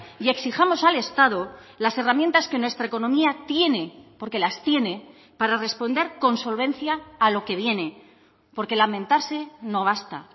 y exijamos al estado las herramientas que nuestra economía tiene porque las tiene para responder con solvencia a lo que viene porque lamentarse no basta